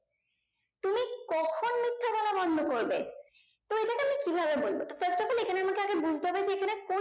তুমি কখন মিথ্যে বলা বন্দ করবে তো এটাকে আমি কি ভাবে বলবো first of all এখানে আমাকে আগে বুজতে হবে যে এখানে